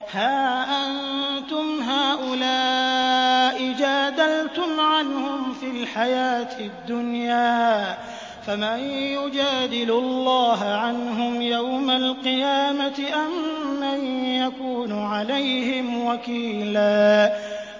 هَا أَنتُمْ هَٰؤُلَاءِ جَادَلْتُمْ عَنْهُمْ فِي الْحَيَاةِ الدُّنْيَا فَمَن يُجَادِلُ اللَّهَ عَنْهُمْ يَوْمَ الْقِيَامَةِ أَم مَّن يَكُونُ عَلَيْهِمْ وَكِيلًا